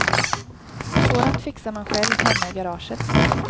Sådant fixar man själv hemma i garaget.